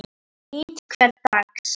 Ég nýt hvers dags.